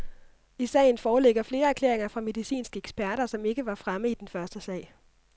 I sagen foreligger flere erklæringer fra medicinske eksperter, som ikke var fremme i den første sag.